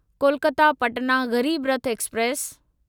Kolkata Patna Garib Rath express